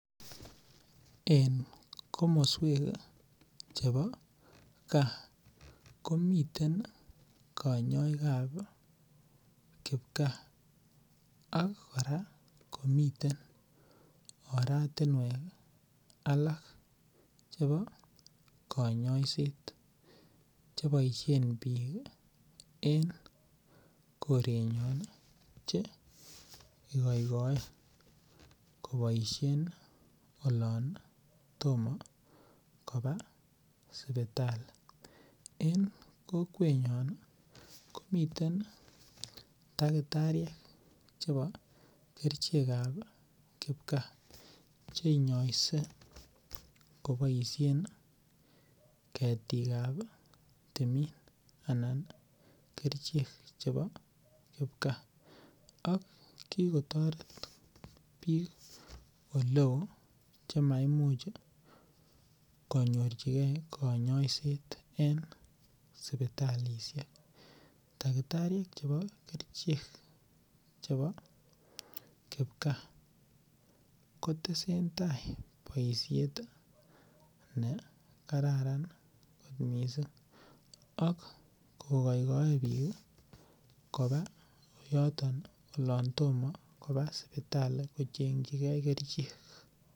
En komosuek chebo kaa komiten kanyaikab ka Ako miten oratuniek ih alak chebo kanyaiset chebaisien bik en en korenyon cheikoito ikoin keboisien olon toma kobaa sibitali. En kokwet nyon ih komiten tagitarik chebo kerichekab kipkaa. Cheinyoisee kobaishien ih . Ketikab timin. Anan kerichek cheboo kipkaa. Ak kikotoret bik oleo chemai much ih konyorchike konyoiset. En sibitalishek takitariek chebo kerichek chebo kibkaa kotesen tai boisiet ne kararan kot missing. Ak koghaigae bik olaan toma koba sibitali.